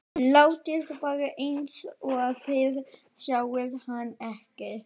Látið bara eins og þið sjáið hann ekki.